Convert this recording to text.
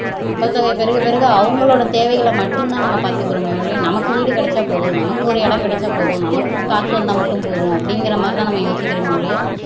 மக்கள் தொகை பெருக பெருக அவங்களோட தேவைகளை மட்டும்தான் நாம் பாத்துகிறோமே தவிர நமக்கு வீடு கிடைச்சா போதும் நமக்கு ஒரு இடம் கிடைச்சா போதும் நமக்கு காசு வந்தா மட்டும் போதும் அப்ப்டிங்கிறமாதிரிதான் யோசிக்கிறோமே தவிர